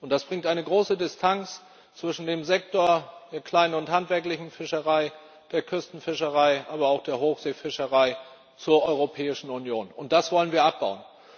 Das erzeugt eine große Distanz zwischen dem Sektor der kleinen und handwerklichen Fischerei, der Küstenfischerei, aber auch der Hochseefischerei und der Europäischen Union, und das wollen wir abbauen.